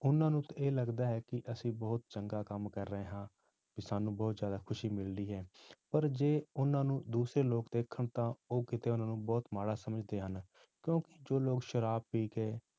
ਉਹਨਾਂ ਨੂੰ ਤੇ ਇਹ ਲੱਗਦਾ ਹੈ ਕਿ ਅਸੀਂ ਬਹੁਤ ਚੰਗਾ ਕੰਮ ਕਰ ਰਹੇ ਹਾਂ ਵੀ ਸਾਨੂੰ ਬਹੁਤ ਜ਼ਿਆਦਾ ਖ਼ੁਸ਼ੀ ਮਿਲਦੀ ਹੈ ਪਰ ਜੇ ਉਹਨਾਂ ਨੂੰ ਦੂਸਰੇ ਲੋਕ ਦੇਖਣ ਤਾਂ ਉਹ ਕਿਤੇ ਉਹਨਾਂ ਨੂੰ ਬਹੁਤ ਮਾੜਾ ਸਮਝਦੇ ਹਨ, ਕਿਉਂਕਿ ਜੋ ਲੋਕ ਸ਼ਰਾਬ ਪੀ ਕੇ